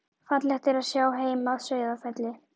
Fallegt er að sjá heim að Sauðafelli.